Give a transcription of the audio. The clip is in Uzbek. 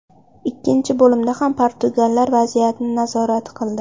Ikkinchi bo‘limda ham portugallar vaziyatni nazorat qildi.